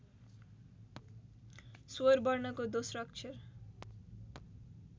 स्वरवर्णको दोस्रो अक्षर